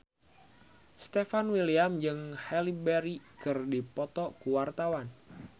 Stefan William jeung Halle Berry keur dipoto ku wartawan